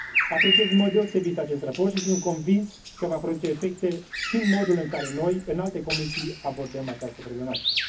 Apreciez în mod deosebit acest raport și sunt convins că va produce efecte și în modul în care noi, în alte comisii, abordăm această problematică.